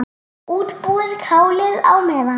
Útbúið kálið á meðan.